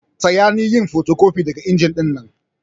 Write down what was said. Taya ni yin fotocopi daga inji dinnan.